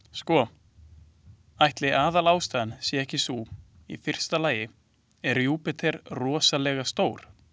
Sko, ætli aðalástæðan sé ekki sú, í fyrsta lagi er Júpíter rosalega stór.